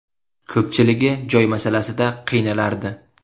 Ko‘pchiligi joy masalasida qiynalardi.